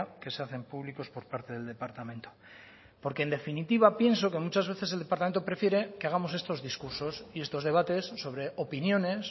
que se hacen públicos por parte del departamento porque en definitiva pienso que muchas veces el departamento prefiere que hagamos estos discursos y estos debates sobre opiniones